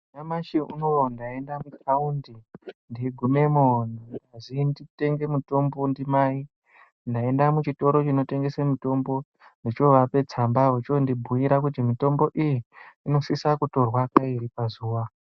Nyamashi unowu ndaenda kutaundi ndeigumemo ndazi nditenge mutombo ndimai ndaenda muchitoro chinotengese mitombo ndochovapa tsamba vochondibhuira kuti mitombo iyi inosisa kutorwa kairi pazuwa.